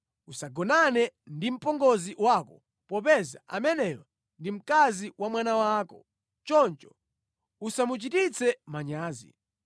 “ ‘Usagonane ndi mpongozi wako popeza ameneyo ndi mkazi wa mwana wako. Choncho usamuchititse manyazi.